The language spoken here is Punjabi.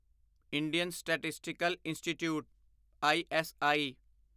Indian statistical institute ISI